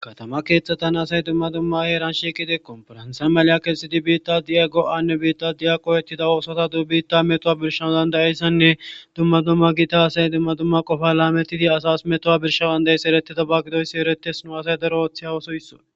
katama keeththatan asay dumma dumma heeranshiqidekkon faransa maly7a kelsi di biitta di7ago7anne biitta di7aqowettida oosota dubitta metowa birshawu dandayayssanne dumma dumma gita asay dumma dumma qofa laametidi asas metowa birshawu dandayaeysa ereti tabagidoysi eretes no asay daro ooththe hawosoysso